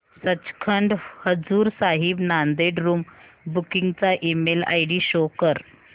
Sachkhand Hazur Sahib Nanded room booking चा email ID show कर